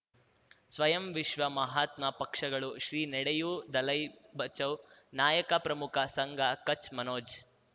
ಸ್ವಯಂ ವಿಶ್ವ ಮಹಾತ್ಮ ಪಕ್ಷಗಳು ಶ್ರೀ ನಡೆಯೂ ದಲೈ ಬಚೌ ನಾಯಕ ಪ್ರಮುಖ ಸಂಘ ಕಚ್ ಮನೋಜ್